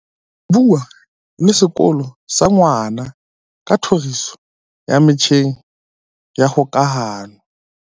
Bua le sekolo sa ngwana ka tlhoriso ya metjheng ya kgokahano.